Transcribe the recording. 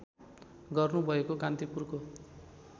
गर्नु भएको कान्तिपुरको